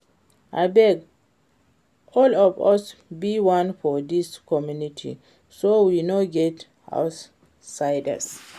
Abeg all of us be one for dis community so we no get outsiders